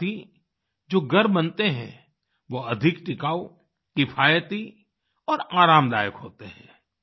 साथ ही जो घर बनते हैं वो अधिक टिकाऊ किफायती और आरामदायक होते हैं